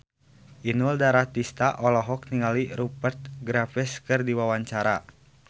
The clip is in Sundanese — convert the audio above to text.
Inul Daratista olohok ningali Rupert Graves keur diwawancara